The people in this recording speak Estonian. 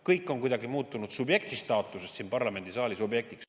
Kõik on kuidagi muutunud subjekti staatusest siin parlamendisaalis objektiks.